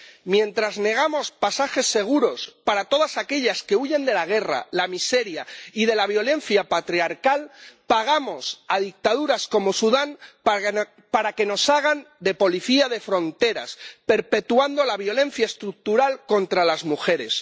Mientras negamos pasajes seguros para todas aquellas que huyen de la guerra, la miseria y la violencia patriarcal, pagamos a dictaduras como Sudán para que nos hagan de policía de fronteras, perpetuando la violencia estructural contra las mujeres.